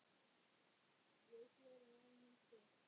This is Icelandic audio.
Við svörum ef hún spyr.